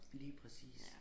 Lige præcis